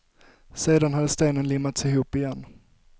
Sedan hade stenen limmats ihop igen.